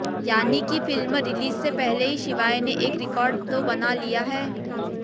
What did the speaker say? यानि की film release से पहले ही शिवाय ने एक रिकॉर्ड तो बना लिया है